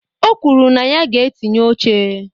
O kwuru na ya ga-etinye oche.